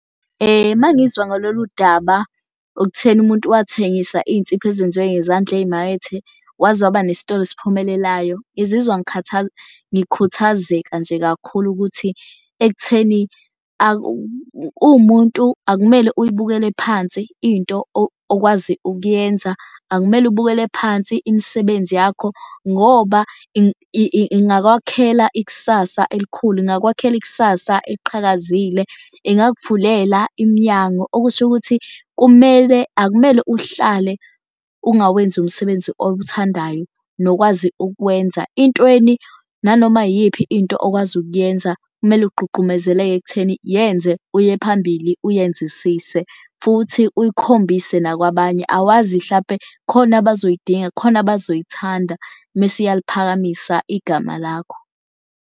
Uma ngizwa ngalolu daba okutheni umuntu wathengisa insipho ezenziwe ngezandla ezimakethe, waze waba nesitolo esiphumelelayo. Ngizizwa ngikhuthazeka nje kakhulu ukuthi ekutheni uwumuntu akumele uyibukele phansi into okwazi ukuyenza, akumele ubukele phansi imisebenzi yakho ngoba ingakwakhela ikusasa elikhulu. Ingakwakhela ikusasa eliqhakazile ingakuvulela iminyango. Okusho ukuthi kumele akumele uhlale ungawenzi umsebenzi owuthandayo nokwazi ukwenza. Intweni nanoma iyiphi into okwazi ukuyenza, kumele ugqugqumezeleke ekutheni yenze uye phambili uyenzisise futhi uyikhombise nakwabanye. Awazi hlampe khona abazoyidinga khona abazoyithanda. Mese iyaliphakamisa igama lakho.